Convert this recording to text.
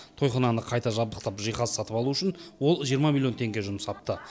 тойхананы қайта жабдықтап жиһаз сатып алу үшін ол жиырма миллион теңге жұмсапты